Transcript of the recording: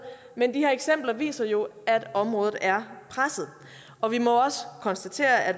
men de her eksempler viser jo at området er presset og vi må også konstatere at